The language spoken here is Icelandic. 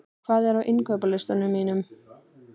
Tói, hvað er á innkaupalistanum mínum?